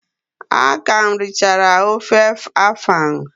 A ka m richara ofe afang.